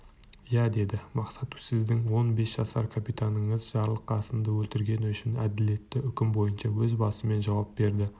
иә деді мақсат сіздің он бес жасар капитаныңыз жарылқасынды өлтіргені үшін әділетті үкім бойынша өз басымен жауап берді